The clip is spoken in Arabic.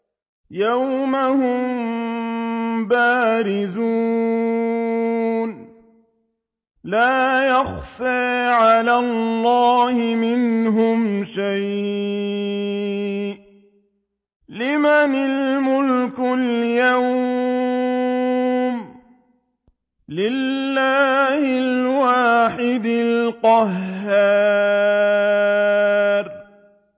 يَوْمَ هُم بَارِزُونَ ۖ لَا يَخْفَىٰ عَلَى اللَّهِ مِنْهُمْ شَيْءٌ ۚ لِّمَنِ الْمُلْكُ الْيَوْمَ ۖ لِلَّهِ الْوَاحِدِ الْقَهَّارِ